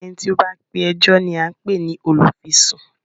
Eni tí ó bá pe ẹjọ́ ni à ń pè ní olùfisùn